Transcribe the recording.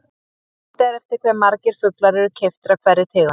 Leitað er eftir hve margir fuglar eru keyptir af hverri tegund.